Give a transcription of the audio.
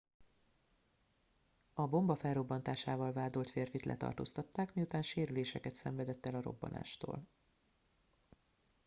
a bomba felrobbantásával vádolt férfit letartóztatták miután sérüléseket szenvedett el a robbanástól